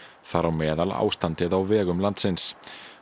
þar á meðal ástandið á vegum landsins